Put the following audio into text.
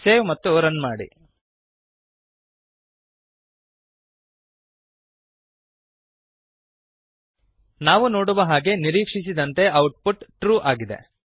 save ಮತ್ತು run ಮಾಡಿ ನಾವು ನೋಡುವ ಹಾಗೆ ನಿರೀಕ್ಷಿಸಿದಂತೆ ಔಟ್ ಪುಟ್ ಟ್ರೂ ಟ್ರೂ ಆಗಿದೆ